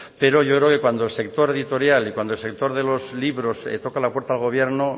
pero yo creo que cuando el sector editorial y cuando el sector de los libros toca la puerta al gobierno